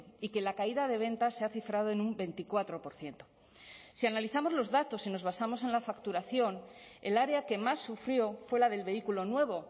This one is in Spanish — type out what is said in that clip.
y que la caída de ventas se ha cifrado en un veinticuatro por ciento si analizamos los datos y nos basamos en la facturación el área que más sufrió fue la del vehículo nuevo